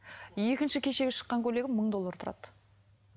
екінші кешегі шыққан көйлегім мың доллар тұрады